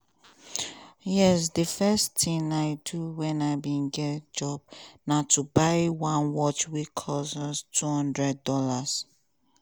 yes di first tin i do when i bin get job na to buy one watch wey cost us two hundred dollars